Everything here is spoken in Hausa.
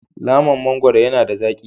Laman mangwaro yana da zaki.